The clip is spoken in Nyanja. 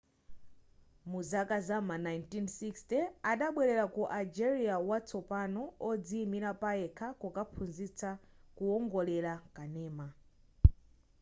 muzaka zam'ma 1960 adabwelera ku algeria watsopano odziimira payekha kukaphunzitsa kuwongolera kanema